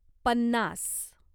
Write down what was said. पन्नास